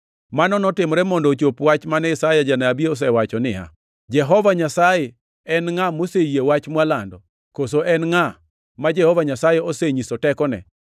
Mano notimore mondo ochop wach mane Isaya janabi osewacho niya, “Jehova Nyasaye, en ngʼa moseyie wach mwalando, koso en ngʼa ma Jehova Nyasaye osenyiso tekone?” + 12:38 \+xt Isa 53:1\+xt*